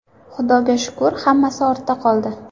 Xudoga shukr, hammasi ortda qoldi.